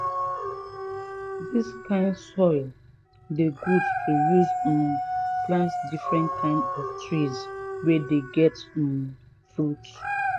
dis kind soil dey good to use um plant different kind of trees wey dey get um fruits